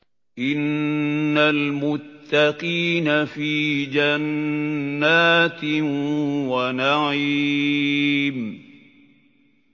إِنَّ الْمُتَّقِينَ فِي جَنَّاتٍ وَنَعِيمٍ